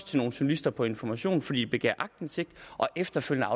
til nogle journalister på information fordi begæret aktindsigt og efterfølgende